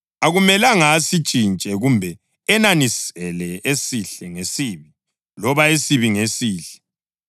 Akumelanga asintshintshe kumbe enanisele esihle ngesibi, loba esibi ngesihle.